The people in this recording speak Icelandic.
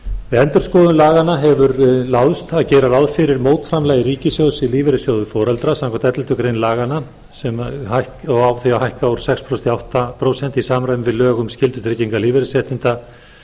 við endurskoðun laganna hefur láðst að gera ráð fyrir að mótframlag ríkissjóðs í lífeyrissjóð foreldra samkvæmt elleftu grein laganna hækki úr sex prósent í átta prósent í samræmi við lög um skyldutryggingu lífeyrisréttinda